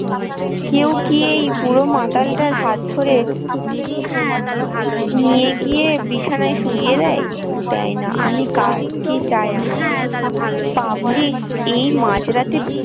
কেউ কি এই বুড়ো মাতালটার হাত ধরে নিয়ে গিয়ে বিছানায় শুইয়ে দেয়, দেয় না আমি কার কে চায় আমাকে public এই মাঝরাতে।